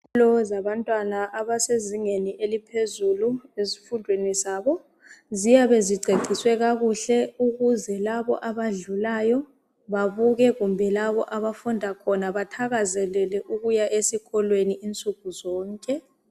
Izikolo zabantwana abasezingeni eliphezulu ezifundweni zabo ziyabe ziceciswe kakuhle ukuze labo abadlulayo babuke kumbe labo abafunda khona bathakazelele ukuya esikolweni nsukuzonke.